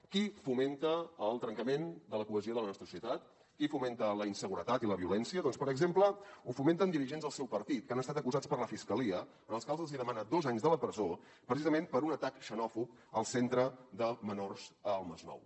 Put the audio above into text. qui fomenta el trencament de la cohesió de la nostra societat qui fomenta la inseguretat i la violència doncs per exemple ho fomenten dirigents del seu partit que han estat acusats per la fiscalia als quals els demana dos anys de presó precisament per un atac xenòfob al centre de menors al masnou